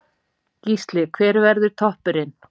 Gísli: Hver verður toppurinn?